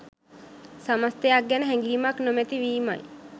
සමස්තයක් ගැන හැඟීමක් නොමැති වීමයි.